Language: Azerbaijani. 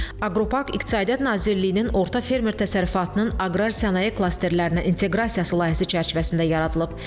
Aqropark İqtisadiyyat Nazirliyinin orta fermer təsərrüfatının aqrar sənaye klasterlərinə inteqrasiyası layihəsi çərçivəsində yaradılıb.